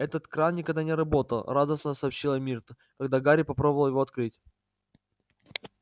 этот кран никогда не работал радостно сообщила миртл когда гарри попробовал его открыть